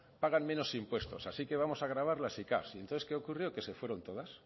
pagan menos impuestos así que vamos a grabar las sicav y entonces qué ocurrió que se fueron todas